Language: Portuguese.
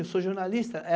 Eu sou jornalista.